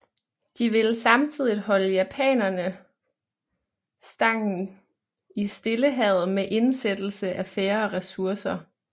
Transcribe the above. De ville samtidig holde japanerne stangen i Stillehavet med indsættelse af færre ressourcer